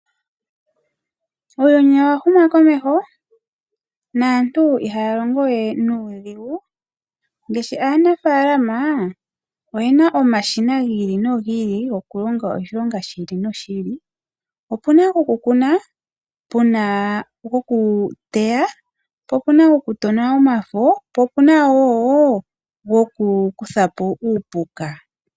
Uuyuni owa huma komeho naantu ihaya longo we nuudhigu. Ngaashi aanafaalama oyena omashina gi ili no gi li gokulonga oshilonga shi ili noshi ili . Opuna gokukuna, opuna gokuteya, po opuna gokutona omafo po opuna wo goku kuthapo uupuka.